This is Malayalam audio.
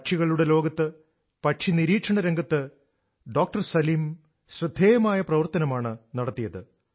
പക്ഷികളുടെ ലോകത്ത് പക്ഷി നിരീക്ഷണ രംഗത്ത് ഡോക്ടർ സലിം ശ്രദ്ധേയമായ പ്രവർത്തനമാണ് നടത്തിയത്